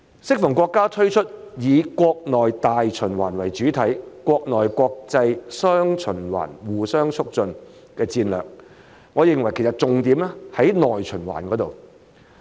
適逢國家推出以國內大循環為主體、國內國際雙循環互相促進的戰略，我認為其實重點在於內循環。